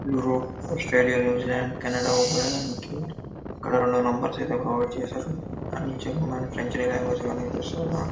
Europe Australia New Zealand Canada వెళ్ళడానికి ఇక్కడ రెండు నంబర్స్ అయితే ప్రొవైడ్ చేసారు --